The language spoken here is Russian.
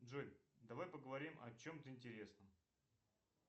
джой давай поговорим о чем то интересном